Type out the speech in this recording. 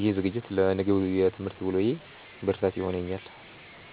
ይህ ዝግጅት ለነገው የትምህርት ውሎዬ ብርታት ይሆነኛል።